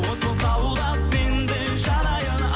от боп лаулап мен де жанайын